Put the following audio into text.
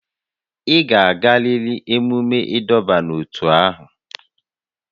Ị ga-agarịrị emume ịdọba n'ótú ahụ!